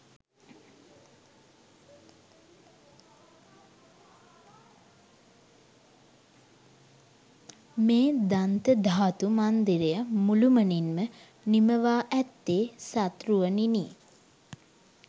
මේ දන්තධාතු මන්දිරය මුළුමනින්ම නිමවා ඇත්තේ සත් රුවනිනි